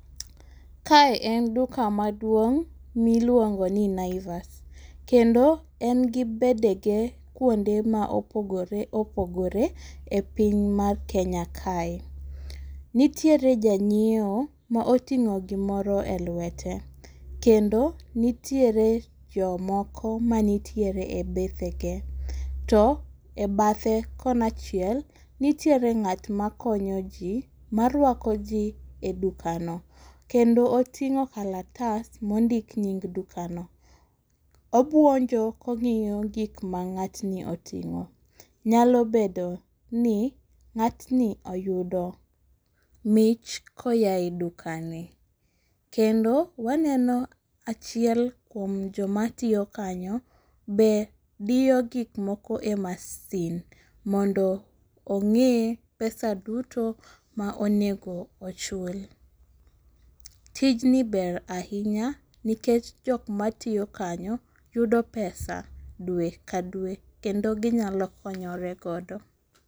Kae en duka maduong' miluongoni naivas, kendo en gi bedege kuonde maopogore opogore e piny mar Kenya kae. Nitiere janyieo maoting'o gimoro e lwete, kendo nitiere jomoko manitiere e bedhege. To e badhe kona achiel nitiere ng'at makonyo jii maruako jii e dukano, kendo oting'o kalatas mondik nying dukano. Obuonjo kong'iyo gikma ng'atni oting'o, nyalo bedoni nga'tni oyudo mich koaye dukani, kendo waneno achiel kuom jomatiyo kanyo be diyo gikmoko e masin mondo ong'e pesa duto maonego ochul. Tijni ber ahinya nikech jokmatiyo kanyo yudo pesa dwe ka dwe kendo ginyalo konyore godo.